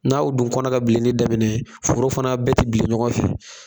N' aw dun kɔna ka bilenni daminɛ foro fana bɛ ti bilen ɲɔgɔn fɛ